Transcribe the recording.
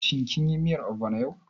Shin kin yi miyar ogbono yau?